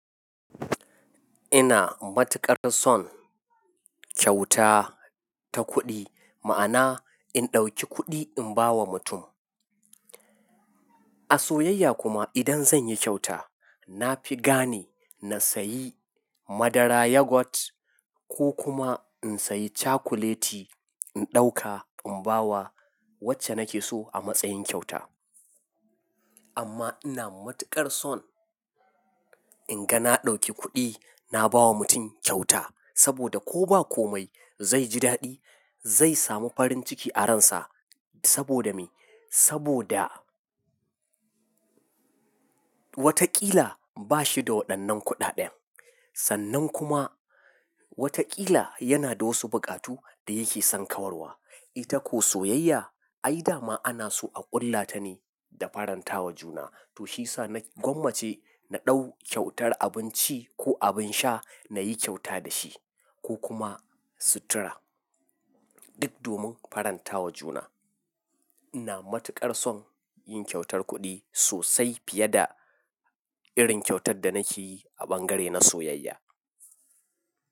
Ina matuƙar son kyauta ta kuɗi, ma'ana in ɗauki kuɗi in ba wa mutum. A soyayya kuma idan zan yi kyauta, na fi gane na sayi madara yogurt ko kuma in sayi cakuleti in ɗauka in ba wa wacce nake so a matsayin kyauta. Amma ina matuƙar son in ga na ɗauki kuɗi na ba wa mutum kyauta saboda ko ba komai zai ji daɗi, zai samu farin ciki a ransa saboda me? Saboda watakila bashi da waɗannan kuɗaɗen. Sannan kuma watakila yana da wasu buƙatu da yake son kawarwa. Ita ko soyayya, ai dama ana so a ƙullata ne da faranta wa juna. To shiyasa na gwammace na ɗau kyautar abinci ko abin sha na yi kyauta da shi ko kuma sutura duk domin faranta wa juna. Ina matuƙar son yin kyautar kuɗi sosai fiye da irin kyautar da nake yi a bangare na soyayya.